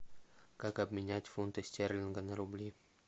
как обменять фунты стерлинга на рубли